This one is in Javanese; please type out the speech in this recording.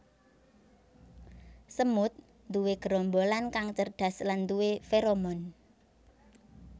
Semut nduwe gerombolan kang cerdas lan nduwé feromon